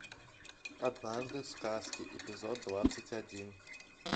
однажды в сказке эпизод двадцать один